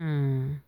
um